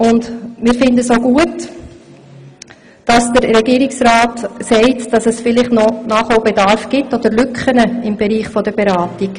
Und wir finden auch gut, dass der Regierungsrat sagt, es bestünden vielleicht noch Nachholbedarf oder Lücken im Bereich der Beratung.